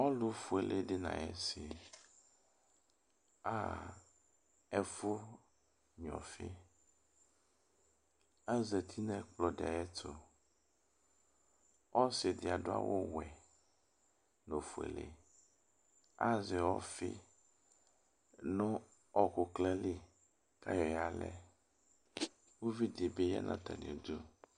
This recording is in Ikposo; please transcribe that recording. Ɔlʋfuele di n'ay'isi aha ɛfʋ gnua ɔfi azati nʋ ɛkplɔ di ayɛtʋ, osi di adʋ awʋ wɛ n'ofuele Azɛ ɔfi nʋ ɔkʋ klin li k'ayɔ yalɛ Uvi ɖi bi ya n'atamiɛtʋ